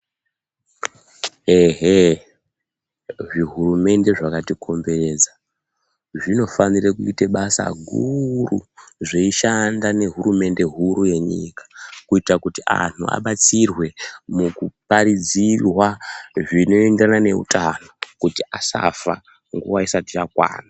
Ehe zvihurumende zvakatikomberedza zvinofana kuita basa guru zveishanda nehurumende huru yenyika kuita antu abatsirwa mukuparidzirwa zvinoenderana nehutano kuti asafa nguwa isati yakwana.